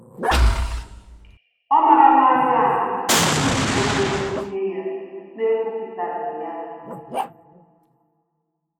Ọ marala anyị ahụ iji ego dozie ya na-ekwupụtaghi ya